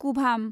कुभाम